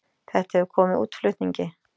Þetta hefur komið útflutningi